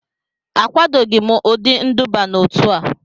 Akwadoghị m ụdị nduba n'otu a